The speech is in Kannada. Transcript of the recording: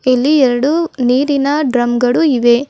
ಇಲ್ಲಿ ಎರಡು ನೀರಿನ ಡ್ರಮ್ ಗಳು ಇವೆ.